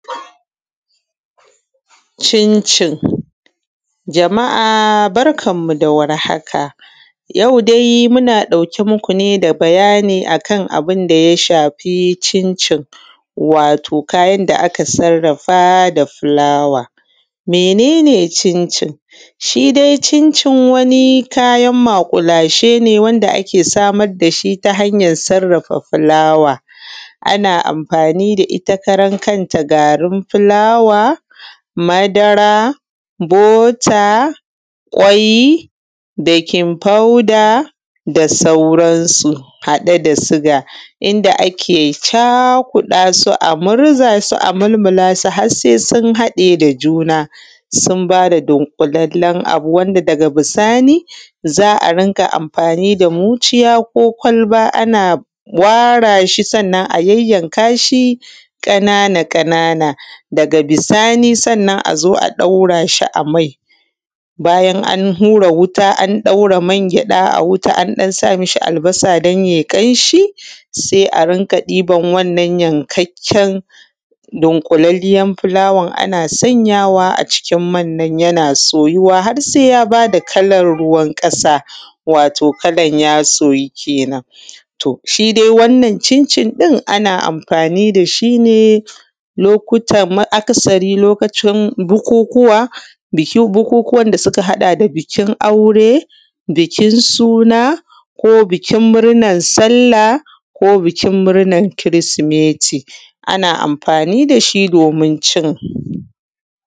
Cincin. Jama’a barkanmu da warhaka yau dai muna ɗauke muku ne da bayani akan abun da ya shafi cincin wato kayan da aka sarrafa da filawa. Mene ne cincin? Shi dai cincin wani kyana maƙulashe ne wanda ake samar da shi ta hanyan sarrafa filawa, ana amfani da ita karankanta garin filawa, madara, bota, kwai, bekin fauda da sauransu haɗe da siga wanda ake cakuɗa su, a murzasu, a mulmulasu, har se sun haɗe da juna sun ba da dunƙulallen abu wanda daga bisani za a rinƙa anfani da mucciya ko kwalba ana wara shi. Sannan a yayyanka shi ƙanana-ƙanana daga bisani sannan a zo a ɗaura shi a mai, bayan an hura wuta an ɗaura mangyaɗa a ɗan sami shi albasa dai se ya yi ƙanshi se a dinga ɗiban wannnan yankakken dunƙulalliyan filawan ana sanyawa a cikin man nan yana soyuwa har se ya ba da kala ruwan ƙasa wato kalan ya soyu kenan. To, shi dai wannan cincin ɗin ana amfani da shi ne lokutan akasari lokacin bukunkuwa, bikin bukunkuwan da suka haɗa da bikin aure, bikin suna ko bikin murnan salla ko bikin murnan kirismeti, ana amfani da shi abincin.